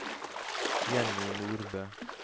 Jenny Nordbø